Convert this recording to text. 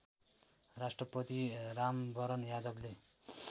राष्ट्रपति रामवरण यादवले